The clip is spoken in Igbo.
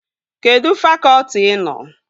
Kedụ fakọtị ị nọ?